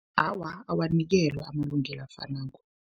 Awa, awanikelwa amalungelo afanako.